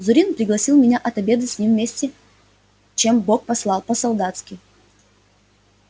зурин пригласил меня отобедать с ним вместе чем бог послал по-солдатски